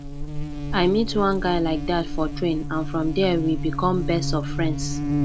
i meet one guy like dat for train and from there we become best of friends